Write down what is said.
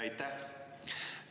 Aitäh!